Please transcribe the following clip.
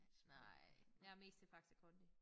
Nej jeg er mest til Faxe Kondi